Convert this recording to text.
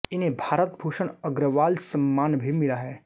इन्हें भारत भूषण अग्रवाल सम्मान भी मिला है